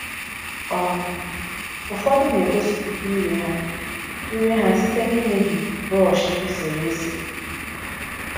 um Ụfọdụ na-egosipụta iwe ha iwe ha site n’imebi brushi eserese.